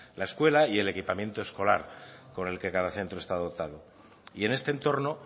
la escuela y el equipamiento escolar con el que cada centro está dotado y en este entorno